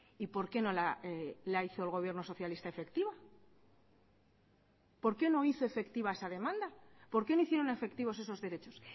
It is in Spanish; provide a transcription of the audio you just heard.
y por qué no la hizo el gobierno socialista efectiva por qué no hizo efectiva esa demanda por qué no hicieron efectivos esos derechos